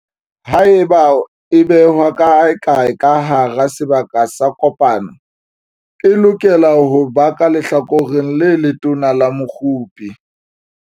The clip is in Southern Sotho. Haeba e behwa kaekae ka hara sebaka sa kopano, e lokela ho ba ka lehlakoreng le letona la mokgopi.